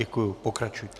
Děkuji, pokračujte.